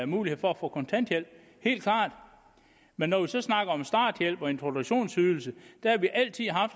mulighed for at få kontanthjælp helt klart men når vi så snakker om starthjælp og introduktionsydelse har vi altid